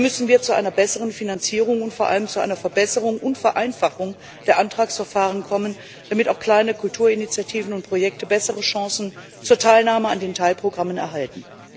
Hier müssen wir zu einer besseren Finanzierung und vor allem zu einer Verbesserung und Vereinfachung der Antragsverfahren kommen, damit auch kleine Kulturinitiativen und Projekte bessere Chancen zur Teilnahme an den Teilprogrammen erhalten.